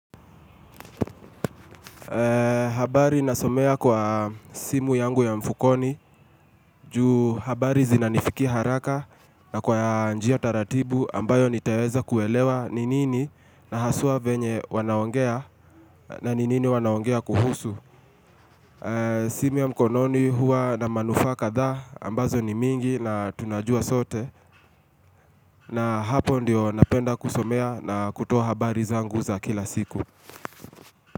Habari nasomea kwa simu yangu ya mfukoni juu habari zinanifikia haraka na kwa njia taratibu ambayo nitaweza kuelewa ni nini na haswa venye wanaongea na ni nini wanaongea kuhusu. Simu ya mkononi huwa na manufaa kadhaa ambazo ni mingi na tunajua sote na hapo ndiyo napenda kusomea na kutoa habari zangu za kila siku.